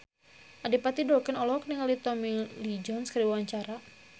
Adipati Dolken olohok ningali Tommy Lee Jones keur diwawancara